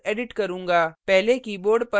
मैं समान code edit करूँगा